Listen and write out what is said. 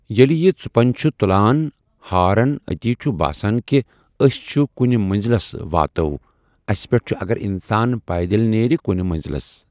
ییٚلہِ یہِ ژُپنٛج چھُ تُلان ہارن اتی چھُ باسن کہِ أسۍ چھِ کُنہِ منٛزۍلس واتو أسۍ اتھ پٮ۪ٹھ اگر انسان پایدٔلۍ نیرِ کُنہِ منٛزۍلس۔